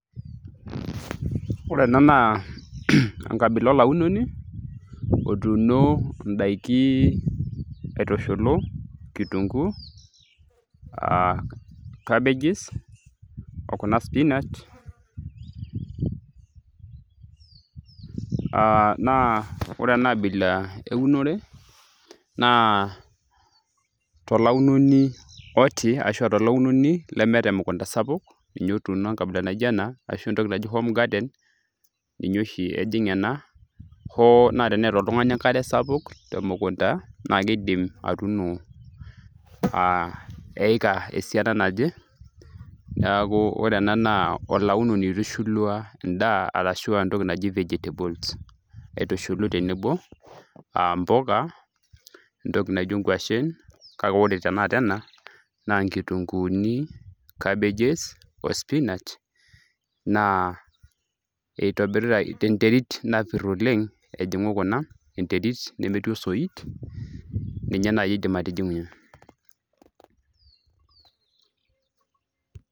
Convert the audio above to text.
ore ena naa enkabila olaunoni otuuno indaiki aitushulu kitunguu aa cabbages okuna spinach aa naa ore ena abila eunore naa tolaunoni oti ashua tolaunoni lemeeta emukunta sapuk ninye otuuno enkabila naijo ena ashu entoki naji home garden ninye oshi ejing ena hoo naa teneeta oltung'ani enkare sapuk temukunta naa kidim atuuno aa eika esiana naje neeku re ena naa olaunoni oitushulua endaa arashua entoki naji vegetables aitushulu tenebo aa impuka entoki naijo inkuashen kake ore tenakata ena naa inkitunguuni cabbages o spinach naa eitobirita tenterit napirr oleng ejing'u kuna enerit nemetii osoit ninye naaji idim atijing'unyie.